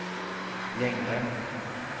längre